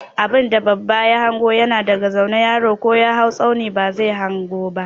Abinda babba ya hanga yana daga zaune, yaro ko ya hau tsauni ba zai hanga ba.